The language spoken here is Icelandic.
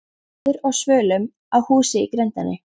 Þetta var maður á svölum á húsi í grenndinni.